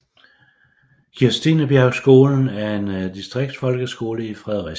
Kirstinebjergskolen er en distriktsfolkeskole i Fredericia